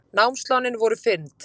Námslánin voru fyrnd